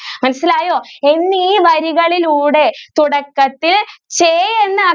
മനസ്സിലായോ ഇന്ന് ഈ വരികളിലൂടെ തുടക്കത്തിൽ ചേ എന്ന